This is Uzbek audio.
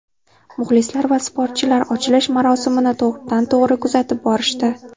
Muxlislar va sportchilar ochilish marosimini to‘g‘ridan to‘g‘ri kuzatib borishdi.